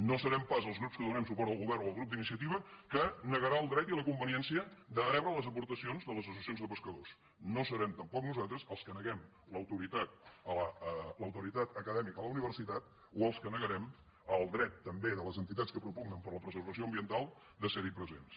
no serem pas els grups que donem suport al govern o el grup d’iniciativa que negarem el dret i la conveniència de rebre les aportacions de les associacions de pescadors no serem tampoc nosaltres els que neguem l’autoritat acadèmica a la universitat o els que negarem el dret també de les entitats que propugnen per la preservació ambiental de ser hi presents